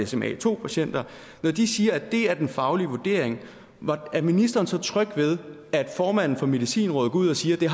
sma2 patienter når de siger at det er den faglige vurdering er ministeren så tryg ved at formanden for medicinrådet går ud og siger at det